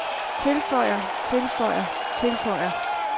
tilføjer tilføjer tilføjer